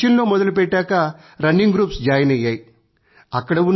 మేము కొచ్చిన్ లో మొదలుపెట్టాకా రన్నింగ్ గ్రూప్స్ జాయిన్ అయ్యాయి